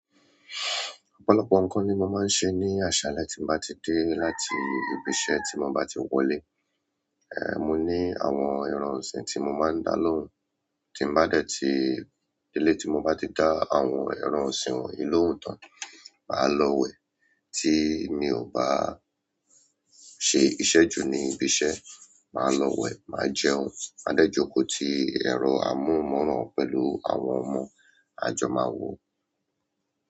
Ọ̀pọ̀lọpọ̀ ǹkan ni mo máa se ní àṣálẹ́ tí mo bá ti dé láti ibi iṣẹ́ ti mo bá ti wọlé. Ẹ̀, mo ní àwọn ẹran ọ̀sìn tí mo máa ń dá lóhùn. Tí mo bá dẹ́ ti dé lé tí mo bá ti dá àwọn ẹran ọ̀sìn wọ̀nyí lóhùn tán, màá lọ wẹ̀. Tí mi ò bá ṣe iṣẹ́ jù ní ibi iṣẹ́, màá lọ wẹ̀, màá jẹun, máa dẹ́jù ko ti ẹ̀rọ amóhùnmáwòrán pẹ̀lú àwọn ọmọ, a jọ máa wò ó.